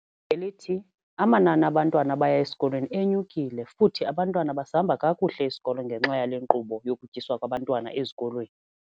Ngelithi, amanani abantwana abaya esikolweni enyukile futhi abantwana basihamba kakuhle isikolo ngenxa yale nkqubo yokutyiswa kwabantwana ezikolweni.